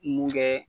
Mun bɛ